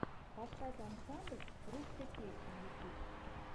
поставь ансамбль русской песни ютуб